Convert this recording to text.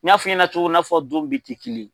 N y'a f'i ɲɛna cogo min, i n'a fɔ don bɛ tɛ kelen ye.